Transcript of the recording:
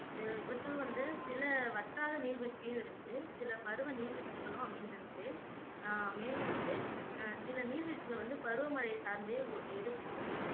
இது இவற்றில் வந்து சில வட்டார நீர்வீழ்ச்சியும் இருக்கு சில பருவ நீர்வீழ்ச்சிகளும் அமைஞ்சிருக்கு அஹ் மேலும் வந்து அஹ் சில நீர்வீழ்ச்சிகள் வந்து பருவமழையை சார்ந்தே ஒ இருக்கும்